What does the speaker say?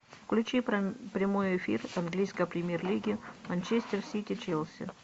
включи прямой эфир английской премьер лиги манчестер сити челси